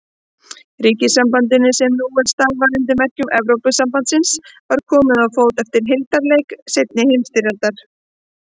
Ríkjasambandinu, sem nú starfar undir merkjum Evrópusambandsins, var komið á fót eftir hildarleik seinni heimsstyrjaldar.